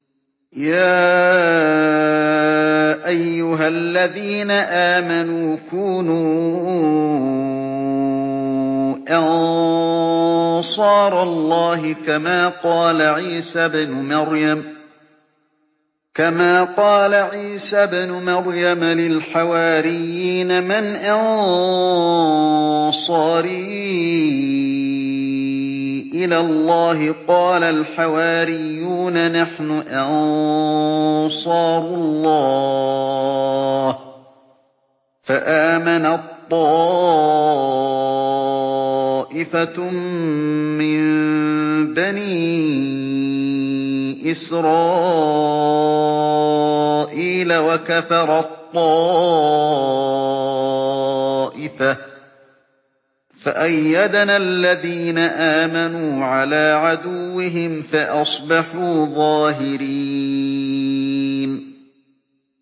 يَا أَيُّهَا الَّذِينَ آمَنُوا كُونُوا أَنصَارَ اللَّهِ كَمَا قَالَ عِيسَى ابْنُ مَرْيَمَ لِلْحَوَارِيِّينَ مَنْ أَنصَارِي إِلَى اللَّهِ ۖ قَالَ الْحَوَارِيُّونَ نَحْنُ أَنصَارُ اللَّهِ ۖ فَآمَنَت طَّائِفَةٌ مِّن بَنِي إِسْرَائِيلَ وَكَفَرَت طَّائِفَةٌ ۖ فَأَيَّدْنَا الَّذِينَ آمَنُوا عَلَىٰ عَدُوِّهِمْ فَأَصْبَحُوا ظَاهِرِينَ